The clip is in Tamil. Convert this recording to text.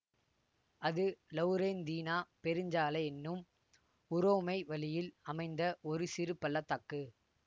அது லவுரெந்தீனா பெருஞ்சாலை என்னும் உரோமை வழியில் அமைந்த ஒரு சிறு பள்ள தாக்கு